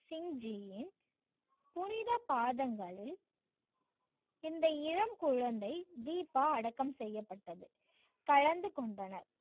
சிங் ஜியின் புனித பாதங்களில் இந்த இளம் குழந்தை தீபா அடக்கம் செய்யப்பட்டது கலந்து கொண்டனர்.